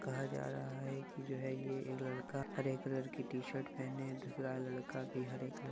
कहा जा रहा है की जो है ये एक लड़का हरे कलर की टी शर्ट पहने है दूसरा लड़का भी हरे कलर -----